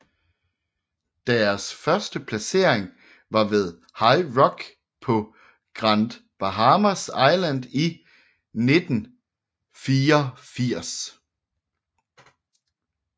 Deres første placering var ved High Rock på Grand Bahamas Island i 1984